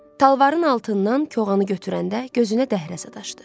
Talvarın altından koğanı götürəndə gözünə dəhrə sataşdı.